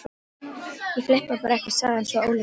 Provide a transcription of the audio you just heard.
Ég flippaði bara eitthvað sagði hann svo óljóst.